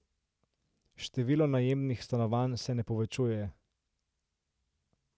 Število najemnih stanovanj se ne povečuje.